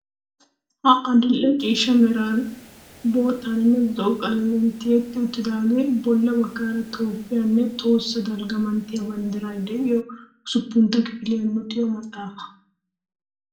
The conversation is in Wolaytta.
Ha adil"e ciishsha meraan, boottaaninne zo"o qalamiyan tiyetti uttidagee bolla baggaara Toophphiya nne tohossa dalgga manttiya banddiray de'iyo usuppuntta kifiliya luxiyo maxaafaa.